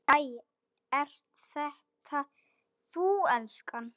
Æ, ert þetta þú elskan?